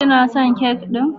Kina son kek ɗin?